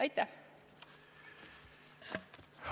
Aitäh!